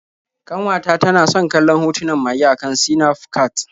Ƙanwata tana san kallon hotunan mage a kan Sinafcat.